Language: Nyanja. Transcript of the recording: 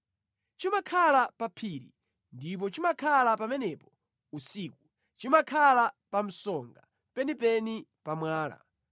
Chimakhala pa phiri ndipo chimakhala pamenepo usiku; chimakhala pa msonga penipeni pa mwala.